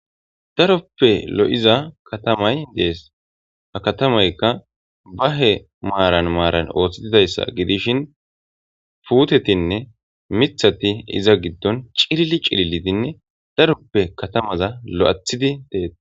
Daroppe lo7iza katamay dees ha katamaykka bahe maaran maaran ooththitidayssa gidishin puutetinne mithati iza giddon cilili cililidinne daroppe katamaza lo7athidi teei